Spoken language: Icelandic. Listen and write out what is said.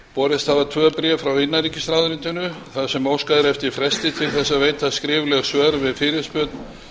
borist hafa tvö bréf frá innanríkisráðuneytinu þar sem óskað er eftir fresti til að veita skrifleg svör við fyrirspurn